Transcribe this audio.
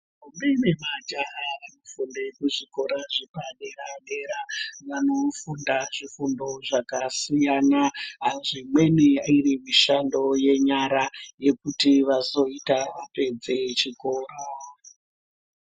Ntombi ne majaya anofunda kuzvikora zvepadera dera vanofunda zvifundo zvakasiyana zvimweni iri mishando yenyara yekuti vazoita vapedze chikora.